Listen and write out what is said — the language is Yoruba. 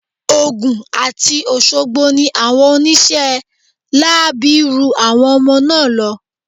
Ogun àti Òṣogbo ni àwọn oníṣẹ́ láabi ru àwọn ọmọ náà lọ.